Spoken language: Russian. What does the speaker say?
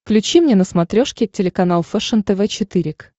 включи мне на смотрешке телеканал фэшен тв четыре к